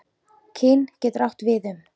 Kyn getur átt við um